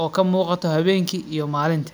oo kamugato hawenki iyo malinti,